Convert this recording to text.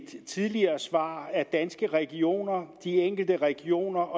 tidligere svar at danske regioner de enkelte regioner